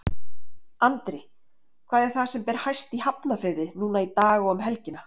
Andri, hvað er það sem ber hæst í Hafnarfirði núna í dag og um helgina?